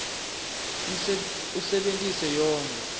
usebentise yonkhe